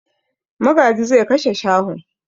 Magaji zai kashe shaho.